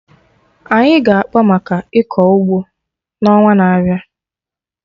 Anyị ga-akpa maka ịkọ ụgbọ na ọnwa n'abịa